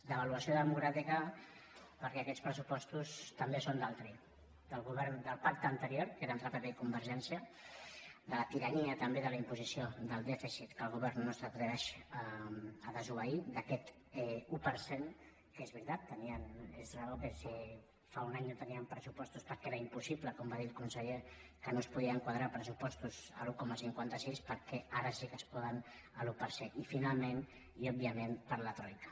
devaluació democràtica perquè aquests pressupostos també són d’altri del govern del pacte anterior que era entre pp i convergència de la tirania també de la imposició del dèficit que el govern no s’atreveix a desobeir d’aquest un per cent que és veritat tenien raó si fa un any no tenien pressupostos perquè era impossible com va dir el conseller que no es podien quadrar pressupostos a l’un coma cinquanta sis per què ara sí es poden a l’un per cent i finalment i òbviament per la troica